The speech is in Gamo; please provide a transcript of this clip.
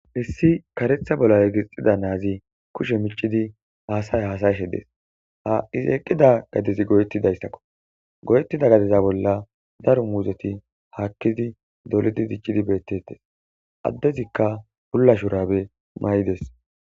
hessi karetha bola egixida naazi kushe micidi haasay haasayshe des ha izeeqqida gadezi goyetti dayssakko goyettida gadeza bolla daro muuzeti haakkidi dolidi diccidi beettetes addezikka pulla shurabe may7ides